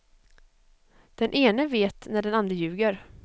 Den ene vet när den andre ljuger.